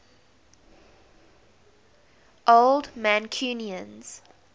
old mancunians